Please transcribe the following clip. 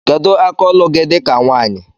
Kedu aka ọlụ gi di ka nwanyi?